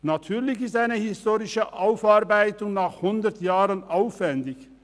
Natürlich ist eine historische Aufarbeitung nach hundert Jahren aufwendig.